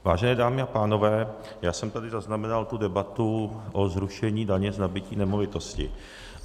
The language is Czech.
Vážené dámy a pánové, já jsem tady zaznamenal tu debatu o zrušení daně z nabytí nemovitosti.